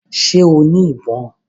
Ṣẹ́ o ní ìbọn?